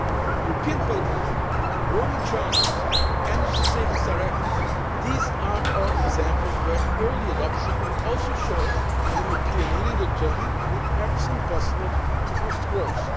implemented. The European patent, roaming charges, the Energy Savings Directive these are all examples where early adoption would also show a European Union determined to do everything possible to boost